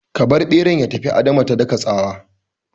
Ka bar ɓeran ya tafi! Adama ta daka tsawa